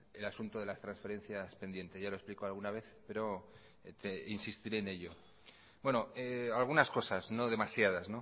en el asunto de las transferencias pendientes ya lo he explicado alguna vez pero insistiré en ello bueno algunas cosas no demasiadas